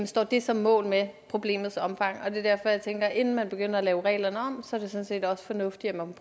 står det så mål med problemets omfang det er derfor jeg tænker at inden man begynder at lave reglerne om er det sådan set også fornuftigt at man